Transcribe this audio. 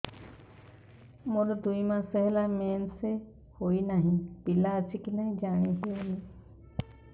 ମୋର ଦୁଇ ମାସ ହେଲା ମେନ୍ସେସ ହୋଇ ନାହିଁ ପିଲା ଅଛି କି ନାହିଁ ଜାଣି ହେଉନି